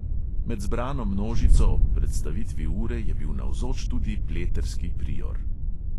Med zbrano množico ob predstavitvi ure je bil navzoč tudi pleterski prior.